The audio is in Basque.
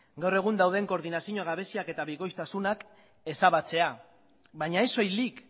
gaur egun dauden koordinazio gabeziak eta bikoiztasunak ezabatzea baina ez soilik